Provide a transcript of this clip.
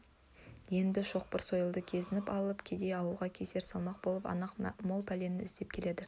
енді шоқпар-сойылды кезеніп алып кедей ауылға кесір салмақ боп анық мол пәлені іздеп келеді